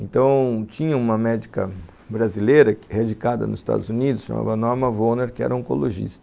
Então, tinha uma médica brasileira, radicada nos Estados Unidos, chamava Norma Wohner, que era oncologista.